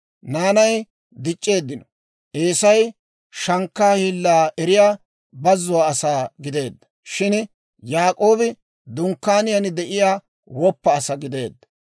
Naanay dic'c'eeddino; Eesay shankkaa hiillaa eriyaa bazuwaa asaa gideedda; shin Yaak'oobi dunkkaaniyaan de'iyaa woppa asaa gideedda.